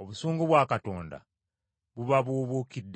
obusungu bwa Katonda bubabuubuukiddeko.